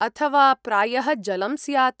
अथवा प्रायः जलं स्यात्?